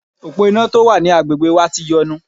Òpó iná tó wà ní agbègbè wa ti yọnu.